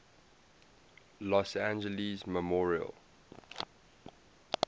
los angeles memorial